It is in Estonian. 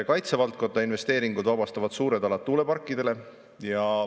Kaitsevaldkonna investeeringud vabastavad suured alad tuuleparkidele.